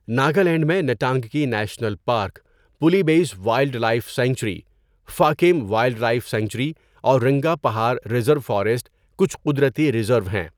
ناگالینڈ میں Ntangki national park, Pulie Badze wildlife sanctuary, Fakim wildlife sanctuary اور Rangapahar reserve forest کچھ قدرتی ریزرو ہیں۔